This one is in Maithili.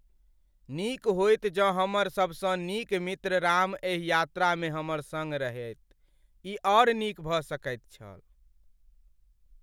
नीक होइत जँ हमर सबसँ नीक मित्र राम एहि यात्रामे हमर सङ्ग रहैत। ई आर नीक भऽ सकैत छल।